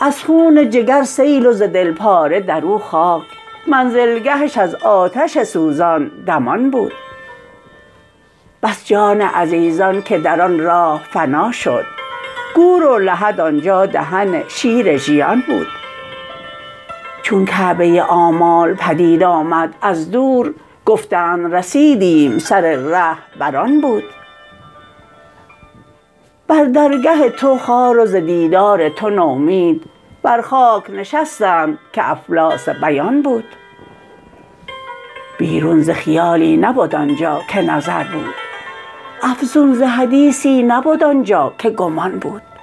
از خون جگر سیل وز دل پاره درو خاک منزلگهش از آتش سوزان دمان بود بس جان عزیزان که در آن راه فنا شد گور و لحد آنجا دهن شیر ژیان بود چون کعبه آمال پدید آمد از دور گفتند رسیدیم سر ره بر آن بود بر درگه تو خوار و ز دیدار تو نومید بر خاک نشستند که افلاس بیان بود بیرون ز خیالی نبد آنجا که نظر بود افزون ز حدیثی نبد آنجا که گمان بود